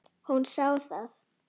Hún sá það.